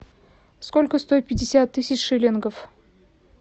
сколько стоит пятьдесят тысяч шиллингов